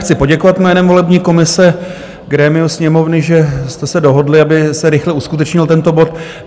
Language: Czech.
Chci poděkovat jménem volební komise grémiu Sněmovny, že jste se dohodli, aby se rychle uskutečnil tento bod.